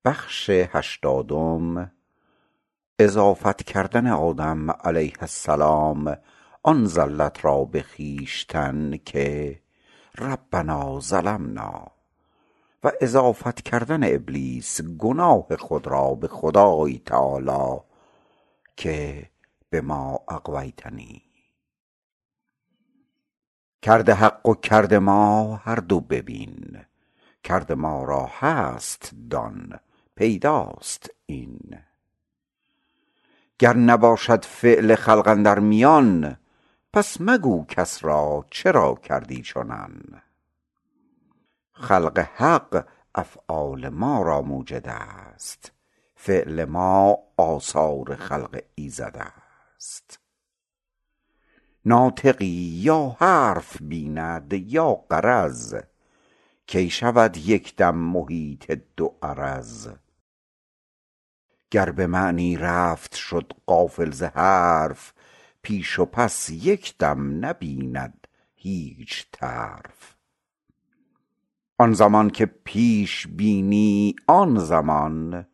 کرد حق و کرد ما هر دو ببین کرد ما را هست دان پیداست این گر نباشد فعل خلق اندر میان پس مگو کس را چرا کردی چنان خلق حق افعال ما را موجدست فعل ما آثار خلق ایزدست ناطقی یا حرف بیند یا غرض کی شود یک دم محیط دو عرض گر به معنی رفت شد غافل ز حرف پیش و پس یک دم نبیند هیچ طرف آن زمان که پیش بینی آن زمان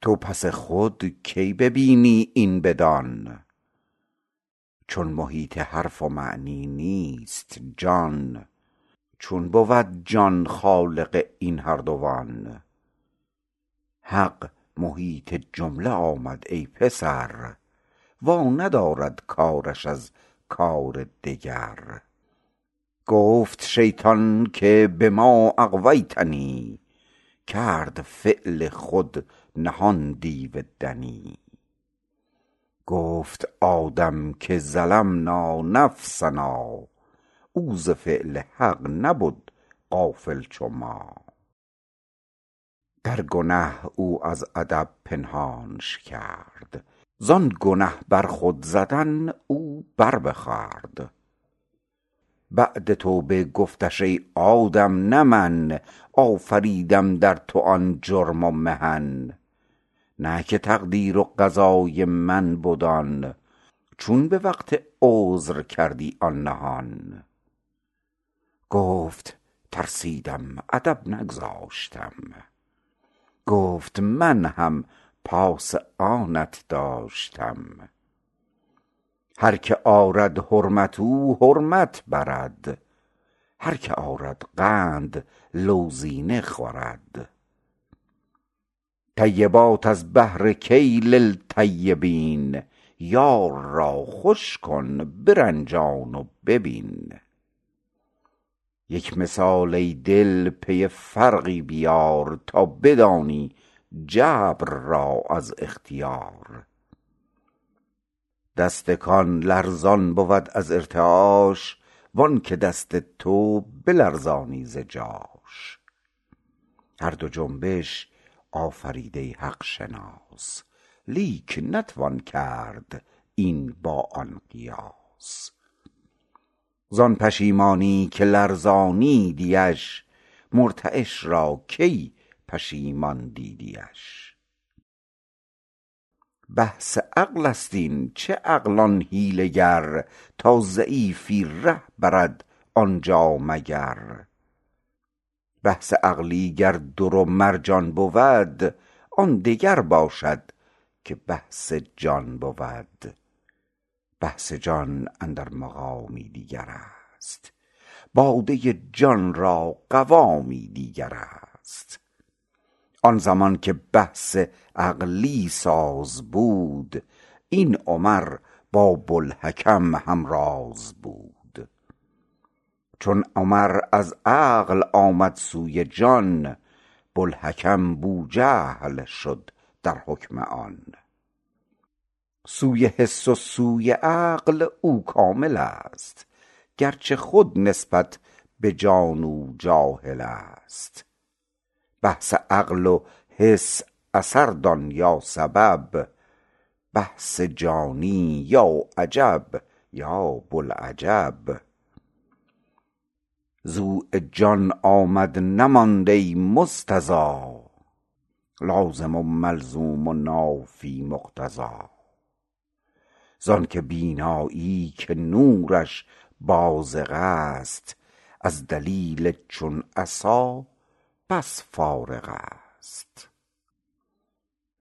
تو پس خود کی ببینی این بدان چون محیط حرف و معنی نیست جان چون بود جان خالق این هر دوان حق محیط جمله آمد ای پسر وا ندارد کارش از کار دگر گفت شیطان که بما اغویتنی کرد فعل خود نهان دیو دنی گفت آدم که ظلمنا نفسنا او ز فعل حق نبد غافل چو ما در گنه او از ادب پنهانش کرد زان گنه بر خود زدن او بر بخورد بعد توبه گفتش ای آدم نه من آفریدم در تو آن جرم و محن نه که تقدیر و قضای من بد آن چون به وقت عذر کردی آن نهان گفت ترسیدم ادب نگذاشتم گفت هم من پاس آنت داشتم هر که آرد حرمت او حرمت برد هر که آرد قند لوزینه خورد طیبات از بهر کی للطیبین یار را خوش کن برنجان و ببین یک مثال ای دل پی فرقی بیار تا بدانی جبر را از اختیار دست کان لرزان بود از ارتعاش وانک دستی تو بلرزانی ز جاش هر دو جنبش آفریده حق شناس لیک نتوان کرد این با آن قیاس زان پشیمانی که لرزانیدیش مرتعش را کی پشیمان دیدیش بحث عقلست این چه عقل آن حیله گر تا ضعیفی ره برد آنجا مگر بحث عقلی گر در و مرجان بود آن دگر باشد که بحث جان بود بحث جان اندر مقامی دیگرست باده جان را قوامی دیگرست آن زمان که بحث عقلی ساز بود این عمر با بوالحکم همراز بود چون عمر از عقل آمد سوی جان بوالحکم بوجهل شد در حکم آن سوی حس و سوی عقل او کاملست گرچه خود نسبت به جان او جاهلست بحث عقل و حس اثر دان یا سبب بحث جانی یا عجب یا بوالعجب ضؤ جان آمد نماند ای مستضی لازم و ملزوم و نافی مقتضی زانک بینایی که نورش بازغست از دلیل چون عصا بس فارغست